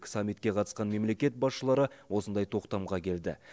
саммитке қатысқан мемлекет басшылары осындай тоқтамға келді